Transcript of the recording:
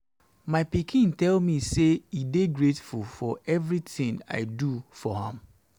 my pikin tell me say e dey grateful for everything i dey do for am